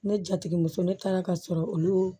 Ne jatigɛmuso ne taara ka sɔrɔ olu